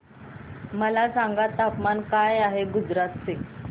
मला सांगा तापमान काय आहे गुजरात चे